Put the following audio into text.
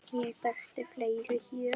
Þekkti ég fleiri hér?